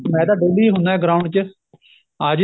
ਮੈਂ ਤਾਂ daily ਹੁੰਨਾ ground ਚ ਆ ਜਿਓ